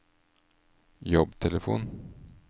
jobbtelefon